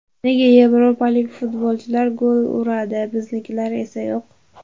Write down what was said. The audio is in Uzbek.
Nega yevropalik futbolchilar gol uradi, biznikilar esa yo‘q?